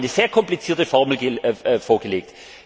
Sie haben eine sehr komplizierte Formel vorgelegt.